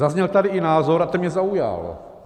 Zazněl tady i názor, a ten mě zaujal.